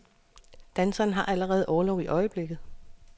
Danseren har allerede orlov i øjeblikket.